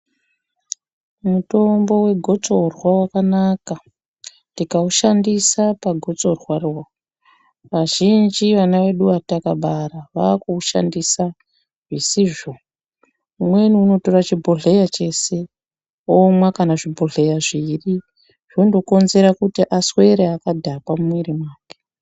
Mutombo wegitsorwa wakanaka tikaushandisa pagotsorwaro. Azhinji ana edu atakaabara, vaakuushandisa zvisizvo. Umweni unotora chibhodhleya chese, omwa kana zvibhodheya zviiri, zvondokonzera kuti aswere akadhakwa mumwiiri mwake.